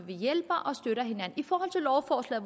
vi hjælper